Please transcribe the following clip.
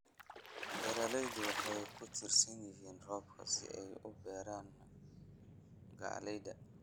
Beeraleydu waxay ku tiirsan yihiin roobka si ay u beeraan galleyda.